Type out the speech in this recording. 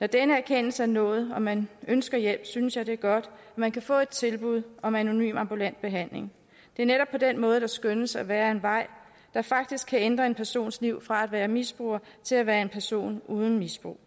når den erkendelse er nået og man ønsker hjælp synes jeg det er godt at man kan få et tilbud om anonym ambulant behandling det er netop på den måde der skønnes at være en vej der faktisk kan ændre en persons liv fra at være misbruger til at være en person uden misbrug